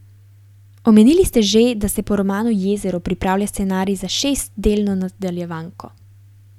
Omenili ste že, da se po romanu Jezero pripravlja scenarij za šestdelno nadaljevanko.